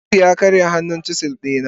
faruk ya karya hannun chisel dina.